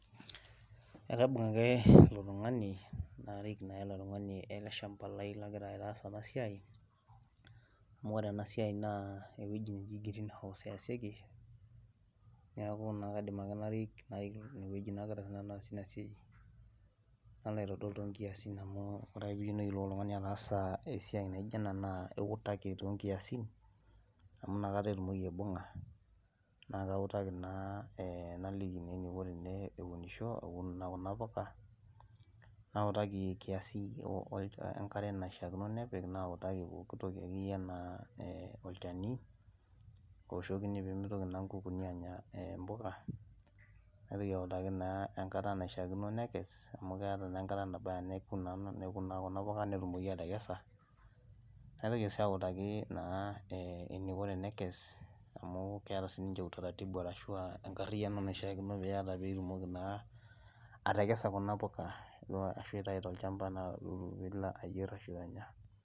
Ekaibung ake eletungani narik na ilo tungani eleshamba lai nalobaitaas enasia amu ore enasia na ewoi naji greenhouse easieki nalo aitodol tonkiasin esiai naijo ena amu iutaki to kiasin na kautaki naliki eniko peunisho aun kuna puka naotaki kiasi enkare nanya ltunganak olchani ooshikini kuna puka naitoki autaki amu keeta na enkata nabaya netumoki atekesa naitoki si autaki eniko metekesa arashu a enkariano niata pitumoki atekesa kuna puka arashu aitau tolchamba